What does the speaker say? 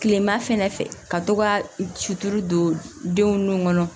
Kilema fɛnɛ fɛ ka to ka suturu don denw nun kɔnɔ